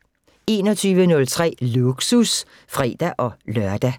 21:03: Lågsus (fre-lør)